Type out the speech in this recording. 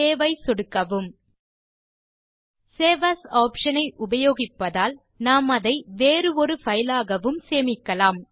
save ஐ சொடுக்கவும் save as option ஐ உபயோகிப்பதால் நாம் அதை வேறு ஒரு பைலாகவும் சேமிக்கலாம்